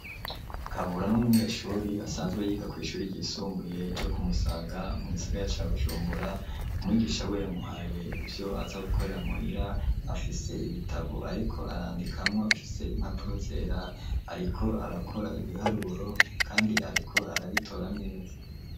Kabura n’umunyeshuri, asanzwe yiga kw'ishuri ryisumbuye ryo ku Musaga, mu gisagara ca Bujumbura; umwigisha wiwe yamuhaye ivyo aza gukorera muhira, afise ibitabo ariko arandikamwo bifise impapuro zera, ariko arakora ibiharuro kandi ariko arabitora neza.